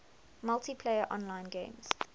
multiplayer online games